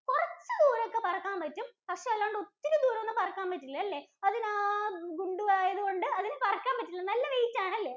ഒത്തിരി ദൂരമൊന്നും പറക്കാന്‍ പറ്റില്ലാല്ലേ. അതിനാ ഗുണ്ടുവായത് കൊണ്ട് അതിനു പറക്കാന്‍ പറ്റില്ല. നല്ല weight ആണല്ലേ?